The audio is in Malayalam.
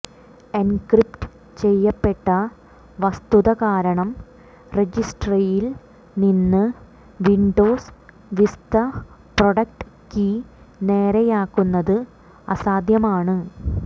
എൻക്രിപ്റ്റ് ചെയ്യപ്പെട്ട വസ്തുത കാരണം രജിസ്ട്രിയിൽ നിന്ന് വിൻഡോസ് വിസ്ത പ്രൊഡക്ട് കീ നേരെയാക്കുന്നത് അസാധ്യമാണ്